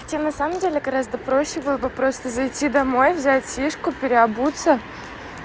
тебе на самом деле гораздо проще было бы просто зайти домой взять тишку переобуться